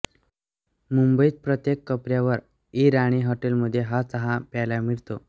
मुंबईत प्रत्येक कोपऱ्यावर ईराणी हॉटेलमध्ये हा चहा प्यायला मिळतो